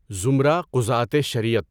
زمرہ قُضاۃِ شریعت